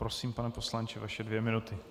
Prosím, pane poslanče, vaše dvě minuty.